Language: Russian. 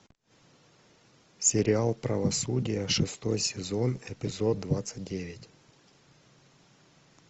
сериал правосудие шестой сезон эпизод двадцать девять